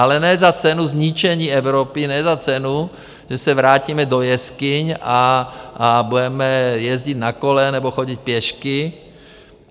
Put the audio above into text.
Ale ne za cenu zničení Evropy, ne za cenu, že se vrátíme do jeskyň a budeme jezdit na kole nebo chodit pěšky.